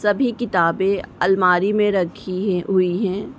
सभी किताबें अलमारी में रखी है हुई हैं।